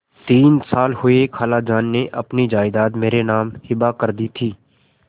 तीन साल हुए खालाजान ने अपनी जायदाद मेरे नाम हिब्बा कर दी थी